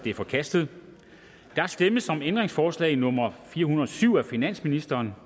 er forkastet der stemmes om ændringsforslag nummer fire hundrede og syv af finansministeren